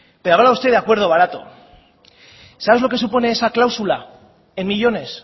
pero hablaba usted de acuerdo barato sabes lo que supone esa cláusula en millónes